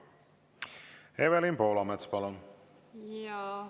Evelin Poolamets, palun!